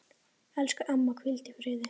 Elsku amma, hvíl í friði.